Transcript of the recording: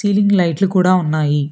Ceiling లైట్లు కూడా ఉన్నాయి.